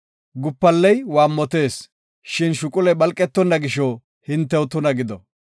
Gupalley waammotees, shin shuquley phalqetonna gisho, hintew tuna gido.